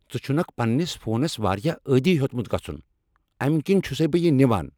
ژٕ چُھنكھ پننِس فونس واریاہ عٲدی ہِیوٚتمُت گژھُن، امہِ کنۍ چُھسٕے بہٕ یہِ نِوان۔